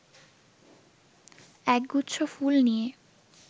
একগুচ্ছ ফুল নিয়ে